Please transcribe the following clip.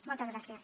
moltes gràcies